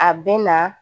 A bɛ na